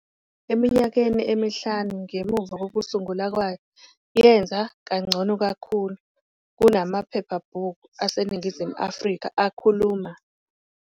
Eminyakeni emihlanu ngemuva kokusungulwa kwayo, yenze kangcono kakhulu kunamaphephabhuku aseNingizimu Afrika akhuluma